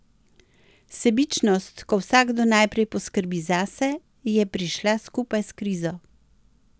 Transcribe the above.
Sebičnost, ko vsakdo najprej poskrbi zase, je prišla skupaj s krizo.